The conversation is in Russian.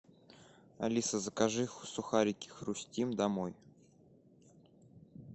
алиса закажи сухарики хрустим домой